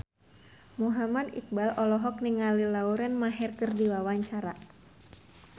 Muhammad Iqbal olohok ningali Lauren Maher keur diwawancara